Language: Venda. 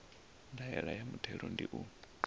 ndaela ya muthelo ndi u